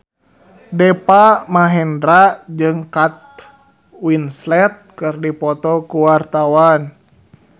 Deva Mahendra jeung Kate Winslet keur dipoto ku wartawan